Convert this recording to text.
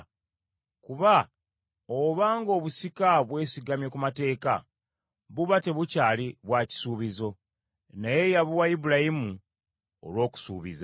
Kuba oba ng’obusika bwesigamye ku mateeka, buba tebukyali bwa kisuubizo; naye yabuwa Ibulayimu olw’okusuubiza.